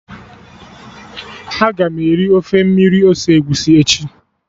Aga m eri ofe mmiri ose egusi echi